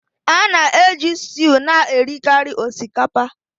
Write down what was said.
A na-eji stew na-erikarị osikapa